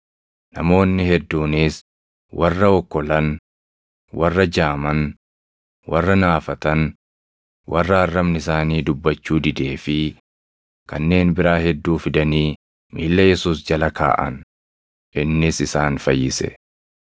Namoonni hedduunis warra okkolan, warra jaaman, warra naafatan, warra arrabni isaanii dubbachuu didee fi kanneen biraa hedduu fidanii miilla Yesuus jala kaaʼan; innis isaan fayyise.